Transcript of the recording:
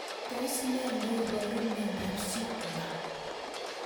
Tos nee neiparu miondop Schindler